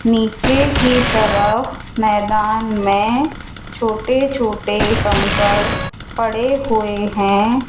नीचे की तरफ मैदान मे छोटे छोटे कंकड़ पड़े हुए हैं।